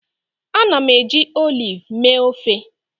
Ana m eji oliv mee ofe